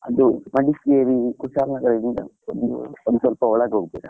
ಅದು ಮಡಿಕೇರಿ, ಕುಶಾಲ್ ನಗರದಿಂದ ಒಂದ್~ ಒಂದು ಸ್ವಲ್ಪ ಒಳಗೆ ಹೋಗ್ಬೇಕು.